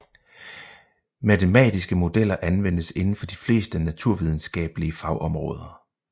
Matematiske modeller anvendes inden for de fleste naturvidenskabelige fagområder